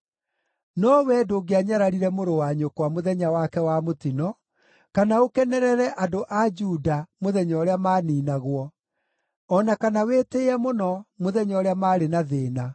No wee ndũngĩanyararire mũrũ wa nyũkwa mũthenya wake wa mũtino, kana ũkenerere andũ a Juda mũthenya ũrĩa maaniinagwo, o na kana wĩtĩĩe mũno mũthenya ũrĩa maarĩ na thĩĩna.